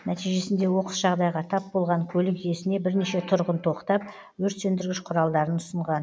нәтижесінде оқыс жағдайға тап болған көлік иесіне бірнеше тұрғын тоқтап өртсөндіргіш құралдарын ұсынған